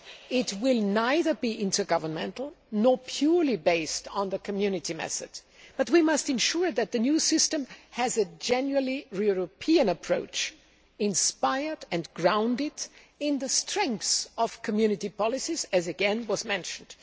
It will neither be intergovernmental nor purely based on the Community method, but we must ensure that the new system has a genuinely European approach inspired by and grounded in the strengths of Community policies, as again was mentioned.